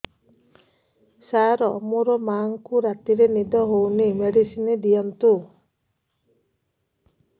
ସାର ମୋର ମାଆଙ୍କୁ ରାତିରେ ନିଦ ହଉନି ମେଡିସିନ ଦିଅନ୍ତୁ